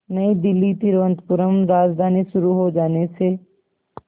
नई दिल्ली तिरुवनंतपुरम राजधानी शुरू हो जाने से